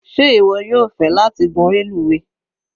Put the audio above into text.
Sé ìwọ yóò fẹ́ láti gún reluwe.?